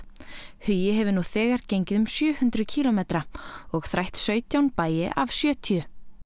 hugi hefur nú þegar gengið um sjö hundruð kílómetra og þrætt sautján bæi af sjötíu